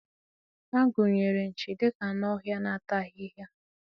A gụnyere nchi dị ka anụ ọhịa na-ata ahịhịa.